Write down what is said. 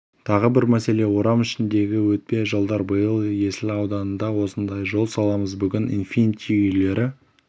тағы бір мәселе орам ішіндегі өтпе жолдар биыл есіл ауданында осындай жол саламыз бүгін инфинити үйлері